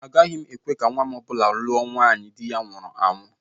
Agaghị m ekwe ka nnwa m ọ bụla lụọ nwaanyị di ya nwụrụla anwụ